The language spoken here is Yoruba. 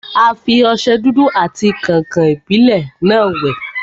A fi ọsẹ dúdú àti kàǹkàn-ìbílẹ́ náà wẹ̀.